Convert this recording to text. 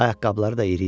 Ayaqqabıları da iri idi.